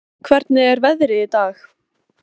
Hólm, hvernig er veðrið í dag?